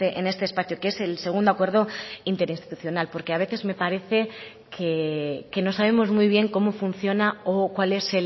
en este espacio que es el segundo acuerdo interinstitucional porque a veces me parece que no sabemos muy bien cómo funciona o cuál es